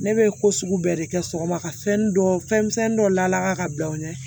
Ne bɛ ko sugu bɛɛ de kɛ sɔgɔma ka fɛn dɔ fɛnmisɛnni dɔ la ka bila u ɲɛ